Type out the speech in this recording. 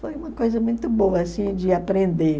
Foi uma coisa muito boa assim de aprender.